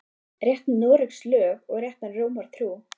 Rétt Noregs lög og rétta Rómar trú